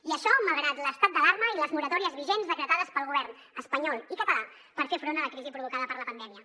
i això malgrat l’estat d’alarma i les moratòries vigents decretades pels governs espanyol i català per fer front a la crisi provocada per la pandèmia